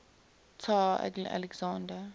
tsar alexander